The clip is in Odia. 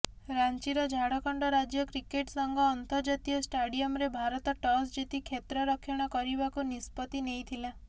ରାଞ୍ଚିର ଝାଡ଼ଖଣ୍ଡ ରାଜ୍ୟ କ୍ରିକେଟ୍ ସଂଘ ଅନ୍ତର୍ଜାତୀୟ ଷ୍ଟାଡିୟମ୍ରେ ଭାରତ ଟସ୍ ଜିତି କ୍ଷେତ୍ରରକ୍ଷଣ କରିବାକୁ ନିଷ୍ପତ୍ତି ନେଇଥିଲା